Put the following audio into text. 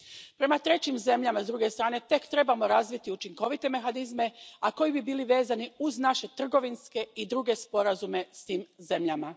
Prema trećim zemljama, s druge strane, tek trebamo razviti učinkovite mehanizme koji bi bili vezani uz naše trgovinske i druge sporazume s tim zemljama.